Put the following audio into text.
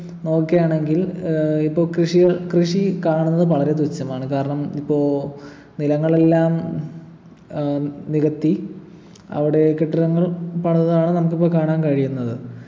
നോക്കയാണെങ്കിൽ ഏർ ഇപ്പൊ കൃഷി കൃഷി കാണുന്നത് വളരെ തുച്ഛമാണ് കാരണം ഇപ്പൊ നിലങ്ങളെല്ലാം ഏർ നികത്തി അവിടെ കെട്ടിടങ്ങള് പണിതതാണ് നമുക്കിപ്പോ കാണാൻ കഴിയുന്നത്